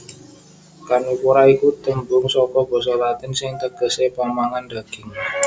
Karnivora iku tembung saka basa Latin sing tegesé pamangan daging